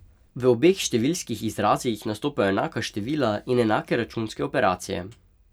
V obeh številskih izrazih nastopajo enaka števila in enake računske operacije.